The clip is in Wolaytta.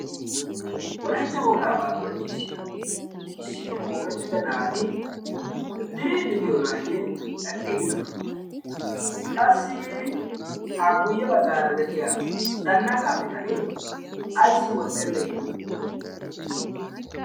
wolaitta wogaabaa qonccissiya issippe qoomettida naati diriidde diyoonaayye aqqiigidona? qassi ha guyye baggaara de7iya zannaqaa bitanee aissi wottenne?